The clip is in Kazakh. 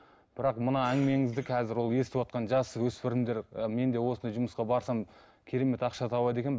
бірақ мына әңгімеңізді қазір ол естіватқан жасөспірімдер і мен де осындай жұмысқа барсам керемет ақша табады екенмін